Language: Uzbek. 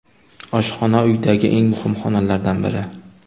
Oshxona – uydagi eng muhim xonalardan biri.